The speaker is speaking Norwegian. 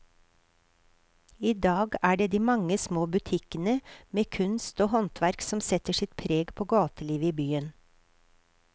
I dag er det de mange små butikkene med kunst og håndverk som setter sitt preg på gatelivet i byen.